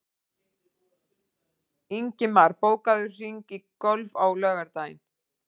Ingimar, bókaðu hring í golf á laugardaginn.